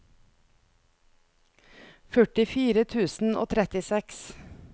førtifire tusen og trettiseks